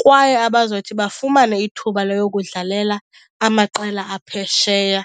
kwaye abazothi bafumane ithuba loyokudlalela amaqela aphesheya.